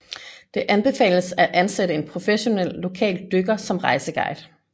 Det anbefales at ansætte en professionel lokal dykker som rejseguide